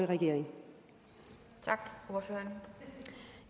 regering der